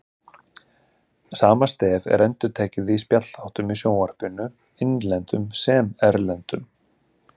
Sama stef er endurtekið í spjallþáttum í sjónvarpinu, innlendum sem erlendum.